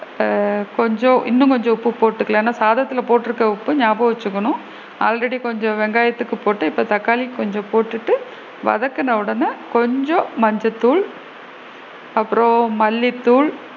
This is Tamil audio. ஆ கொஞ்சம் இன்னும் கொஞ்சம் உப்பு போட்டுக்கலாம் ஏன்னா சாதத்துல உப்பு போட்டு இருக்கோம் நியாபகம் வச்சுக்கணும் already கொஞ்சம் வெங்காயத்துக்கு போட்டு இப்போ தக்காளிக்கு கொஞ்சம் போட்டுட்டு வதக்குன உடனே கொஞ்சம் மஞ்சள் தூள் அப்பறம் மல்லித்தூள்,